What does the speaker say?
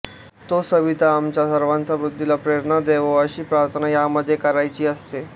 तो सविता आमच्या सर्वांच्या बुद्धीला प्रेरणा देवो अशी प्रार्थना यामध्ये करायची असते